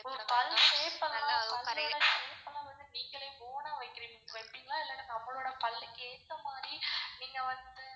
ஒ பல்லு shape எல்லாம் பல்லோட shape லாம் வந்து நீங்களே own ஆ வெப்பிங்களா இல்லனா நம்மளோட பல்லுக்கு ஏத்த மாதிரி நீங்க வந்து.